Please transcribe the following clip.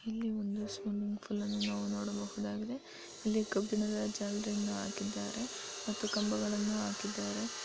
ಇಲ್ಲಿ ಒಂದು swimming pool ಅನ್ನು ನೋಡಬಹುದಾಗಿದೆ ಇಲ್ಲಿ ಕಬ್ಬಿಣದ ಜಾಲರಿಗಳನ್ನು ಹಾಕಲಾಗಿದೆ ಮತ್ತು ಕಂಬಗಳನ್ನು ಹಾಕಿದ್ದಾರೆ.